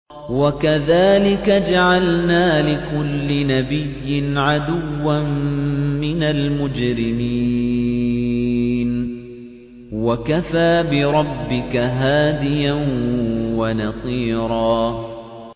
وَكَذَٰلِكَ جَعَلْنَا لِكُلِّ نَبِيٍّ عَدُوًّا مِّنَ الْمُجْرِمِينَ ۗ وَكَفَىٰ بِرَبِّكَ هَادِيًا وَنَصِيرًا